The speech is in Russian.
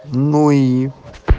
ну и